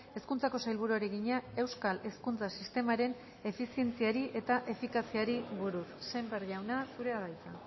hezkuntzako sailburuari egina euskal hezkuntza sistemaren efizientziari eta efikaziari buruz sémper jauna zurea da hitza